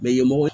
Mɛ ɲɛmɔgɔ